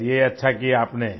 चलिए अच्छा किया आपने